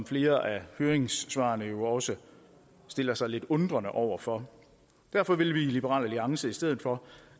flere af høringssvarene også stiller sig lidt undrende over for derfor vil vi i liberal alliance i stedet for